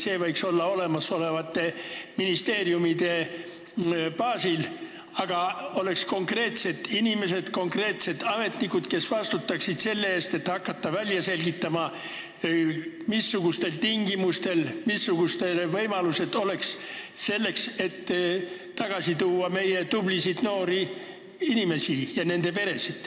See võiks olla olemasolevate ministeeriumide baasil, kus meil oleks konkreetsed inimesed, ametnikud, kes vastutaksid selle väljaselgitamise eest, missugused oleks need tingimused ja võimalused, et me saaksime tagasi tuua meie tublisid noori inimesi ja nende peresid.